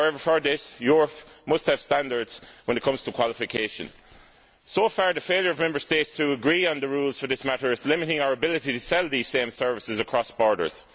However, for this, Europe must have standards when it comes to qualifications. So far, the failure of Member States to agree on the rules for this matter is limiting our ability to sell these same services across borders.